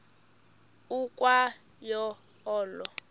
ukwa yo olo